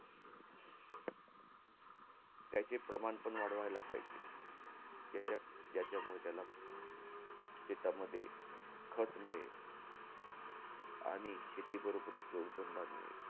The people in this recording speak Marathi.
त्याचे प्रमाण पण वाढवायला पाहिजे. याच्या~ याच्यामुळे त्याला शेतामध्ये खत मिळेल. आणि शेतीबरोबरच जोडधंदा मिळेल.